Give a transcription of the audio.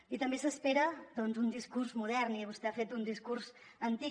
i també s’espera doncs un discurs modern i vostè ha fet un discurs antic